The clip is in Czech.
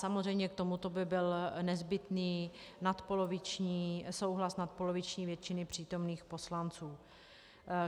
Samozřejmě k tomuto by byl nezbytný souhlas nadpoloviční většiny přítomných poslanců.